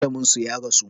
Malamin su ya rasu